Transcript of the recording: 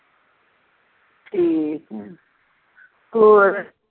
ਠੀਕ ਆ ਹੋਰ